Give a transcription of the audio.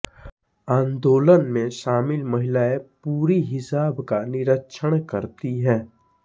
आंदोलन में शामिल महिलाएं पूरी हिजाब का निरीक्षण करती हैं